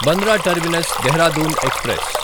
Bandra terminus Dehradun express